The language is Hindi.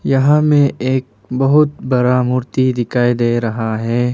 यहां मे एक बहुत बड़ा मूर्ति दिखाई दे रहा है।